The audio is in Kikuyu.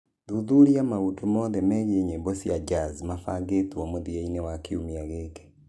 thuthuria maũndũ mothe megiĩ nyĩmbo cia jazz mabangĩtwo mũthia-inĩ wa kiumia gĩkĩ ndagũthaitha